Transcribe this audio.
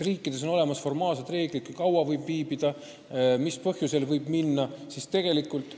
Riikides on olemas reeglid, kui kaua võib riigis viibida, mis põhjusel võib riiki tulla.